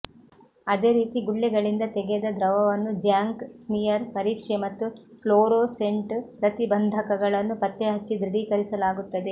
ಅದೇ ರೀತಿ ಗುಳ್ಳೆಗಳಿಂದ ತೆಗೆದ ದ್ರವವನ್ನು ಜ್ಯಾಂಕ್ ಸ್ಮಿಯರ್ ಪರೀಕ್ಷೆ ಮತ್ತು ಪ್ಲೋರೋಸೆಂಟ್ ಪ್ರತಿ ಬಂಧಕಗಳನ್ನು ಪತ್ತೆ ಹಚ್ಚಿ ದೃಡೀಕರಿಸಲಾಗುತ್ತದೆ